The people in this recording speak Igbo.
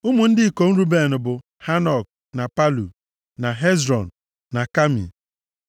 Ụmụ ndị ikom Ruben bụ, Hanok, na Palu, na Hezrọn na Kami.